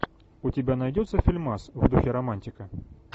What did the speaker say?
у тебя найдется фильмас в духе романтика